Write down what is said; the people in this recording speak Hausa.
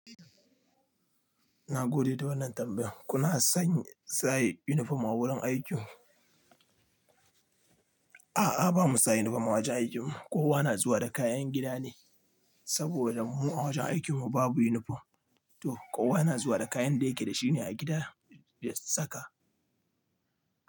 Na gode da wannan tambayar. Kuna sanya saye yunifom a wurin aikin ku? A'a, ba mu sa yunifom a wajen aikinmu. Kowa na zuwa da kayan gida ne saboda mu a wajen aikinmu babu yunifom. To kowa na zuwa da kayan da yake da shi ne a gida ya saka.